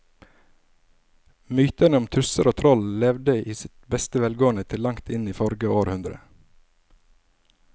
Mytene om tusser og troll levde i beste velgående til langt inn i forrige århundre.